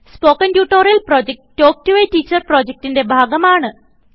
spoken tutorial project talk to a teacher പ്രൊജക്റ്റ്ന്റെ ഭാഗമാണ്